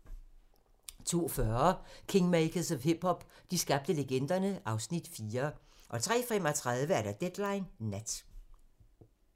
02:40: Kingmakers of hip-hop - de skabte legenderne (Afs. 4) 03:35: Deadline Nat